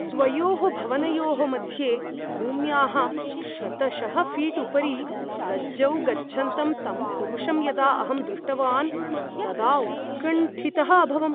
द्वयोः भवनयोः मध्ये भूम्याः शतशः फीट् उपरि रज्जौ गच्छन्तं तं पुरुषं यदा अहं दृष्टवान् तदा उत्कण्ठितः अभवम्।